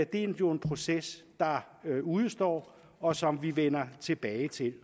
det er jo en proces der udestår og som vi vender tilbage til